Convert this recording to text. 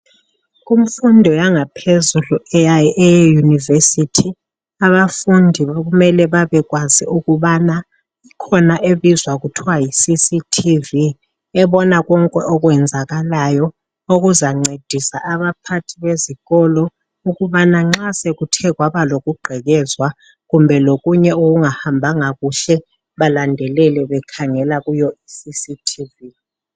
Kumfundo yangaphezuli eye university. Abafundi kumele babekwazi ukubana ikhona ebizwa kuthwa yiCCTV ebona konke okwenzakalayo okuzancedisa abaphathi bezikolo ukubana nxa sekuthe kwaba lokugqekezwa kumbe lokunye okungahambanga kuhle balandelele bekhangela kuyo I CCTV.